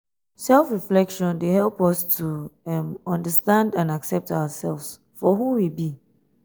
self-reflection dey help us to um understand and accept ourselves for um who we be.